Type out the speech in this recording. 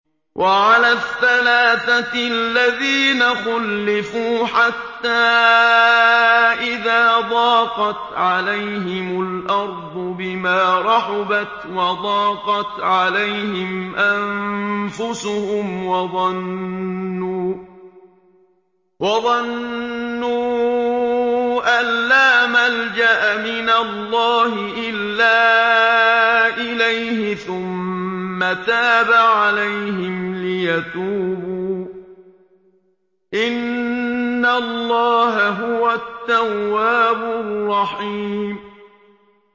وَعَلَى الثَّلَاثَةِ الَّذِينَ خُلِّفُوا حَتَّىٰ إِذَا ضَاقَتْ عَلَيْهِمُ الْأَرْضُ بِمَا رَحُبَتْ وَضَاقَتْ عَلَيْهِمْ أَنفُسُهُمْ وَظَنُّوا أَن لَّا مَلْجَأَ مِنَ اللَّهِ إِلَّا إِلَيْهِ ثُمَّ تَابَ عَلَيْهِمْ لِيَتُوبُوا ۚ إِنَّ اللَّهَ هُوَ التَّوَّابُ الرَّحِيمُ